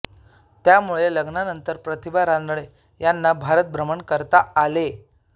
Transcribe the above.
त्यामुळे लग्नानंतर प्रतिभा रानडे यांना भारतभ्रमण करता आले